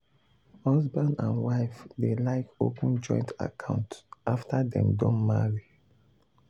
husband and wife dey like open joint account after dem don marry.